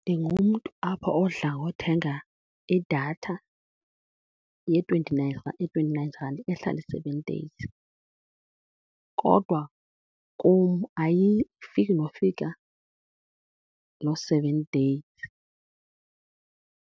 Ndingumntu apha odla ngothenga idatha ye-twenty-nine ye-twenty-nine rand ehlala i-seven days, kodwa kum ayifiki nofika loo seven days.